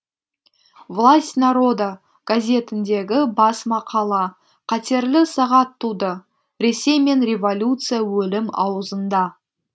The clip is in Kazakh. власть народа гәзитіндегі бас мақала қатерлі сағат туды ресей мен революция өлім ауызында